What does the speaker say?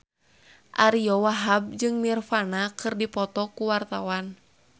Ariyo Wahab jeung Nirvana keur dipoto ku wartawan